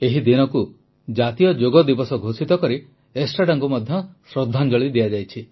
ଏହି ଦିନକୁ ଜାତୀୟ ଯୋଗ ଦିବସ ଘୋଷିତ କରି ଏଷ୍ଟ୍ରାଡାଙ୍କୁ ମଧ୍ୟ ଶ୍ରଦ୍ଧାଞ୍ଜଳି ଦିଆଯାଇଛି